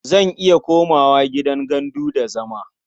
Zan iya komawa gidan gandu da zama.